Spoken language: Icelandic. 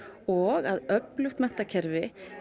og að öflugt menntakerfi